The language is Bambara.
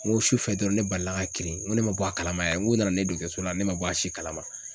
N ko sufɛ dɔrɔn ne balila ka kirin ŋo ne ma bɔ a kalama yɛrɛ n ko nana ne ye dɔgɔtɔrɔso la ne ma bɔ a si kalama.